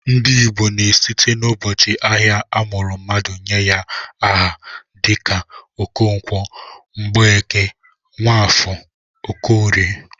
Ndị Igbo na-esite n'ụbọchị ahịa a mụrụ mmadụ nye aha dịka Okonkwo, Mgbeke, Nwafọ, Okorie